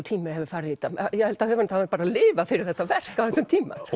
tími hefur farið í þetta ég held að höfundur hafi lifað fyrir þetta verk á þessum tíma